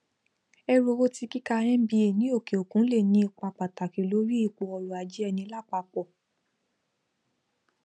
ẹrú owó ti kika mba ni òkè òkun le ni ipa pataki lori ipò ọrọajé ẹni lápapò